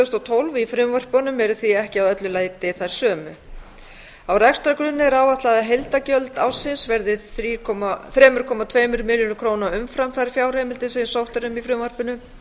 þúsund og tólf í frumvörpunum eru því ekki að öllu leyti þær sömu á rekstrargrunni er áætlað að heildargjöld ársins verði þrjú komma tveir milljarðar króna umfram þær fjárheimildir sem sótt er um í frumvarpinu